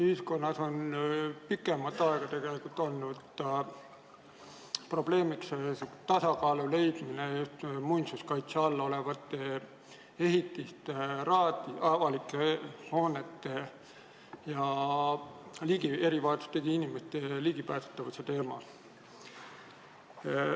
Ühiskonnas on pikemat aega olnud probleemiks muinsuskaitse all olevate ehitiste, avalike hoonete ligipääsetavuse ja erivajadustega inimeste vajaduste vahel tasakaalu leidmine.